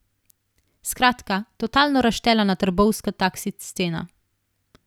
Skratka, totalno razštelana trbovska taksi scena.